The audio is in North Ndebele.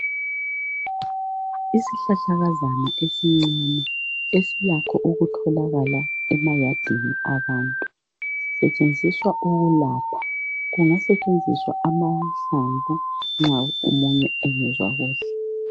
Isihlahlakazana esincuncu esilakho ukutholakala emayadini abantu sisentshenziswa ukulapha, kungasentshenziswa amahlamvu nxa omunye engezwa kuhle.